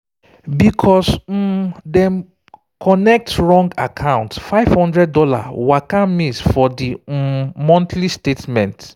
because um dem connect wrong account five hundred dollars waka miss for di um monthly statement